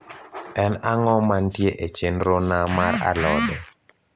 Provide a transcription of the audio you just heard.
en ang`o mantie e chenro na mar alode